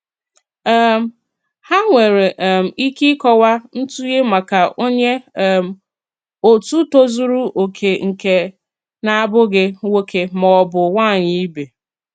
um Há nwere um ike ịkọwa ntụnye maka onye um òtù tózùrù oke nke na-abụghị nwóké ma ọ bụ nwányị ibe.